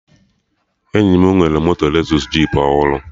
Enyi m nwere moto Lezọs jip ọhụrụ